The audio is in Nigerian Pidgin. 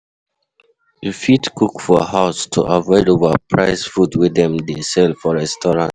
You fit cook for house to avoid overpriced food wey dem dey sell for restaurant